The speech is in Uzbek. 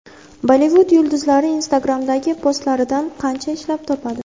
Bollivud yulduzlari Instagram’dagi postlaridan qancha ishlab topadi?.